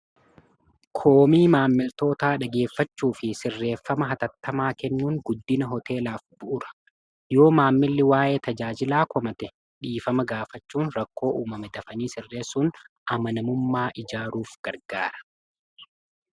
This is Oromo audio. koomii maammiltoota dhageeffachuu fi sirreeffama hatattamaa kennuun guddina hoteelaaf bu'ura yoo maammilli waa'ee tajaajilaa komate dhiifama gaafachuun rakkoo uumame dafanii sirreessuun amanamummaa ijaaruuf gargaara